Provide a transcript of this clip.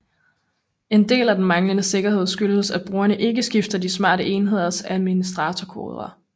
En del af den manglende sikkerhed skyldes at brugerne ikke skifter de smarte enheders administrator kodeord